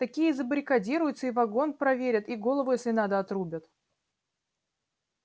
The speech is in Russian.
такие и забаррикадируются и вагон проверят и голову если надо отрубят